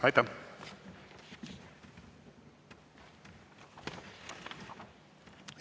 Aitäh!